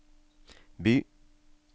by